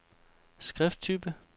skrifttype